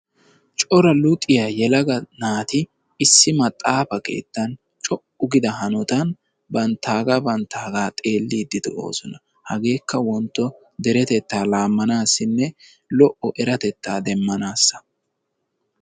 Cora luxiya yelaga naati issi maxaaafa keettan co''u giida hanotan keettan banttaaga banttaaga xeellide de'oosona. Hageetika wontto deretetta laamanasinne lo''o eratettaa demmanassa.